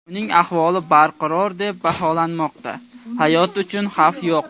Uning ahvoli barqaror deb baholanmoqda, hayoti uchun xavf yo‘q.